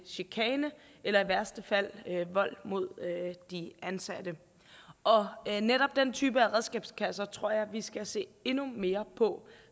chikane eller i værste fald vold mod de ansatte og netop den type af redskabskasser tror jeg vi skal se endnu mere på